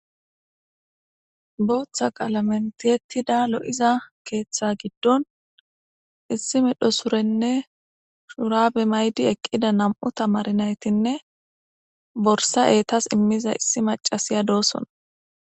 Booththa qaalamen tiyettida lo'iza keeththa giddon issi medho surenne shurabe may'di eqqida nam'u tamaare naytinne borssa eettas iimmiza issi macasiya doosona